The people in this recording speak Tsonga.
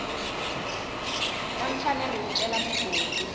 na mfanelo yo cela mugodi